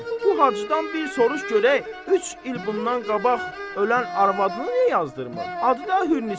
Bu Hacıdan bir soruş görək, üç il bundan qabaq ölən arvadını niyə yazdırmır? Adı da Hürnisədir.